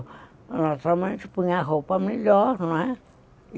Naturalmente, põe a roupa melhor, não é?